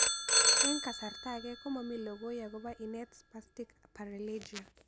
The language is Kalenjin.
Eng' kasarta ag'e komami lokoi akopo inet Spastic paralegia